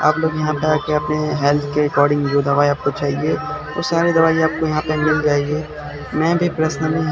आप लोग यहां पे आके अपने हेल्थ के अकॉर्डिंग जो दवाई आपको चाहिए वो सारी दवाई आपको यहां पे मिल जाएगी मैं भी प्रश्नली --